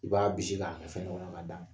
I b'a bisi k'a kɛ fɛn dɔ k kɔnɔ k'a d'a ma.